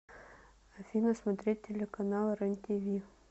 афина смотреть телеканал рен тиви